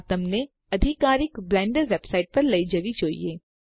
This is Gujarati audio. આ તમને અધિકારીક બ્લેન્ડર વેબસાઈટ પર લઇ જવી જોઈએ